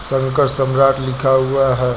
शंकर सम्राट लिखा हुआ है।